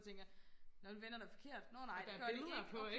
jeg tænker nå det vender da forkert nåh nej det gør de ikke